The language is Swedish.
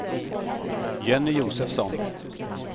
Jenny Josefsson